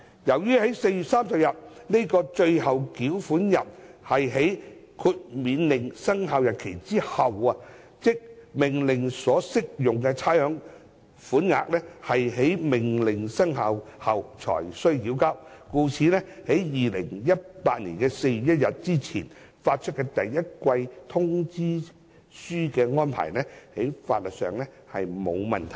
由於4月30日這個最後繳款日是在《命令》生效日後之後，即命令所適用的差餉款額是在命令生效後才須繳交。故此，在2018年4月1日之前發出第一季通知書的安排，在法律上並無問題。